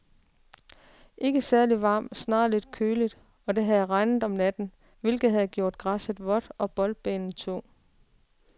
Ikke særligt varmt, snarere lidt køligt, og det havde regnet om natten, hvilket havde gjort græsset vådt og boldbanen tung.